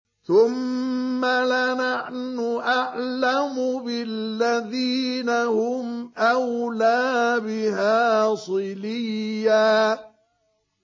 ثُمَّ لَنَحْنُ أَعْلَمُ بِالَّذِينَ هُمْ أَوْلَىٰ بِهَا صِلِيًّا